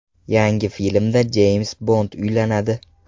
Yangi filmda Jeyms Bond uylanadi.